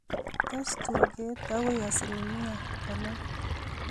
Tes tuget akoi asilimiait konom